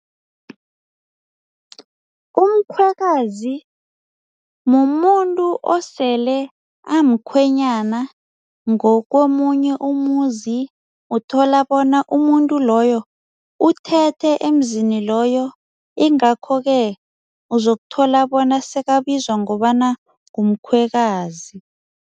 Umkhwekazi mumuntu osele amkhwenyana ngokomunye umuzi uthola bona umuntu loyo uthethe emzini loyo ingakho ke uzokuthola bona sekabizwa ngobana ngumkhwekazi.